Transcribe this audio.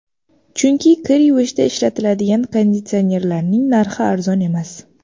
Chunki kir yuvishda ishlatiladigan konditsionerlarning narxi arzon emas.